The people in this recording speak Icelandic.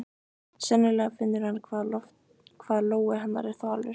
Sennilega finnur hann hvað lófi hennar er þvalur.